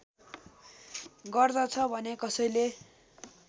गर्दछ भने कसैले